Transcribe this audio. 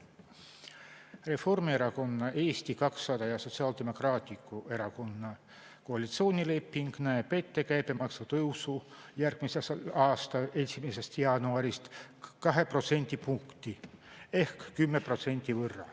Reformierakonna, Eesti 200 ja Sotsiaaldemokraatliku Erakonna koalitsioonileping näeb ette käibemaksu tõusu järgmise aasta 1. jaanuarist 2 protsendipunkti võrra ehk 10%.